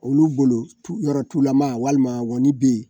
Olu bolo yɔrɔ tulama walima ŋɔni bɛ yen